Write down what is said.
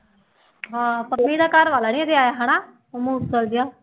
ਹਾਂ ਪੰਮੀ ਦਾ ਘਰ ਵਾਲਾ ਨੀ ਹਜੇ ਆਇਆ ਹਨਾ ਉਹ ਮੂਸਲ ਜਿਹਾ।